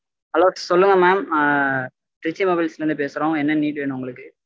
hello சொல்லுங்க mam ஆஹ் trichy mobiles ல இருந்து பேசுறோம் என்ன need வேனும் உங்களுக்கு